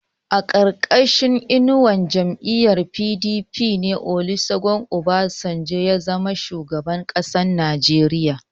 A ƙarƙashin inuwar jam'iyyar PDP ne Olusegun Obasanjo ya zama shugaban ƙasar Najeriya.